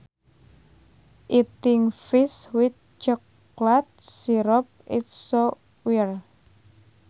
Eating fish with chocolate syrup is so weird